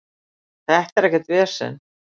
Þetta er ekkert vesen.